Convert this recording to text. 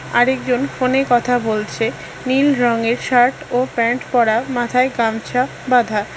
আরেকজন ফোনে কথা বলছে নীল রঙের শার্ট ও প্যান্ট পরা মাথায় গামছা বাধা।